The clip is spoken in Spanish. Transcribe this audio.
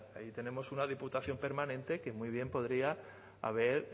verá ahí tenemos una diputación permanente que muy bien podría haber